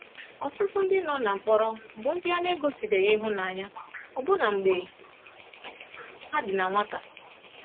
Ọtụtụ ndị nọ na mkpọrọ bụ ndị a na-gosibeghi ịhụnanya, ọbụna mgbe ha dị na nwata.